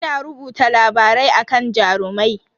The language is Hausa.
Ina rubuta labarai akan Jarumai.